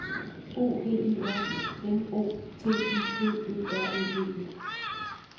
O V E R M O T I V E R E D E